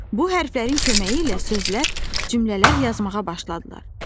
Bu hərflərin köməyi ilə sözlər, cümlələr yazmağa başladılar.